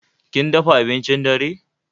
Kin dafa abincin dare?